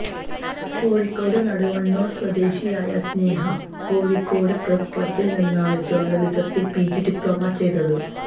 കോഴിക്കോട് നടുവണ്ണൂര് സ്വദേശിയായ സ്നേഹ കോഴിക്കോട് പ്രസ്ക്ലബില് നിന്നാണ് ജേര്ണലിസത്തില് പിജി ഡിപ്ലോമ ചെയ്തത്